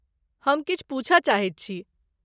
हम किछु पुछय चाहैत छी।